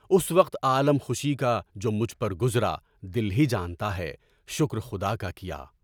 اُس وقت عالمِ خوشی کا جو مجھ پر گزرا، دل بی جانْتا ہے، شکر خدا کا کیا۔